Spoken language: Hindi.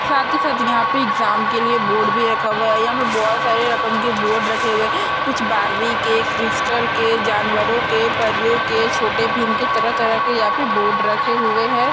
साथ ही साथ यहाँ पे एग्जाम के लिए बोर्ड भी रखा हुवा है यहाँ पे बहुत सारे रकम के बोर्ड रखे हुवे है कुछ बार्बी के क्रिस्टल के जानवरों के परीओ के छोटे भीम के तरह-तरह के यहाँ पे बोर्ड रखे हुवे है।